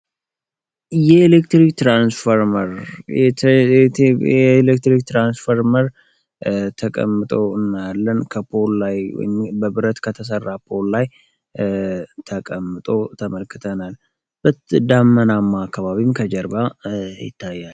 የኤሌክትሪክ ትራንስፎርመር የኤሌክትሪክ ትራንስፎርመር የተቀመው እናየለን። ከፖሊ ላይ በብረት ከተሰራ ፖል ላይ ተቀምጦ ተመልክቶ ተቀምጠናል። ዳመናም ከ ኋላም ይታያል።